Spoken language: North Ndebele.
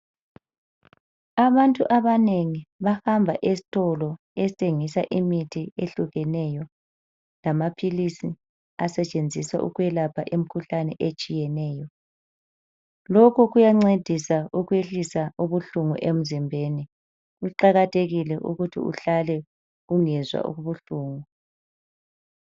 Abantu abanengi bahamba esitolo esithengisa imithi ehlukeneyo lamaphilisi asetshenziswa ukwelapha imkhuhlane etshiyeneyo. Lokhu kuyancedisa ukwehlisa ubuhlungu emzimbeni kuqakathekile ukuthi uhlale ungezwa ubuhlungu.